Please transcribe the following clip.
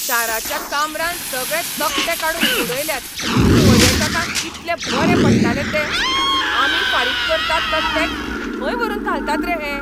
शाराच्या काम्रान सगळे तकटे काडून उडयल्यात. पर्यटकांक कितले बरे पडटाले ते. आमी फारीक करतात तो टॅक्स खंय व्हरून घालतात रे हे?